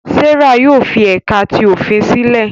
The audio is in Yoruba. Serah yóò fi ẹka ti ofin silẹ